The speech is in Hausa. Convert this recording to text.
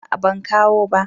A'a ban kawo ba